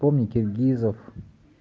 помни киргизов